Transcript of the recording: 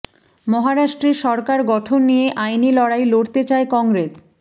মহারাষ্ট্রে সরকার গঠন নিয়ে আইনি লড়াই লড়তে চায় কংগ্রেস